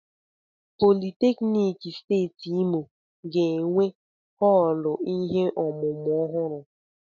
Politeknik Steeti Imo ga-enwe họọlụ ihe ọmụmụ ọhụrụ.